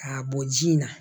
K'a bɔ ji in na